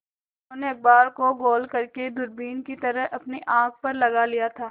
उन्होंने अखबार को गोल करने दूरबीन की तरह अपनी आँख पर लगा लिया था